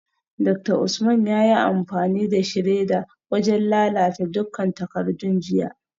Dr Usman yayi amfani da shredder wajen lalata dukkan takardun jiya